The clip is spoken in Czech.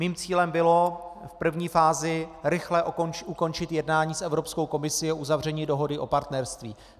Mým cílem bylo v první fázi rychle ukončit jednání s Evropskou komisí o uzavření dohody o partnerství.